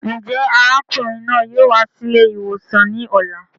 Njẹ arákùnrin náà yóò wá sí ilé ìwòsàn ní ọ̀la?